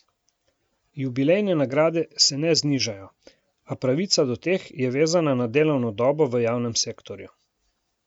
Jubilejne nagrade se ne znižajo, a pravica do teh je vezana na delovno dobo v javnem sektorju.